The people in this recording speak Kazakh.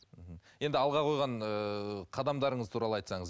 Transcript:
мхм енді алға қойған ыыы қадамдарыңыз туралы айтсаңыз